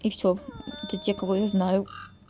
и все это те кого я знаю